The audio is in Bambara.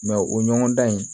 o ɲɔgɔndan in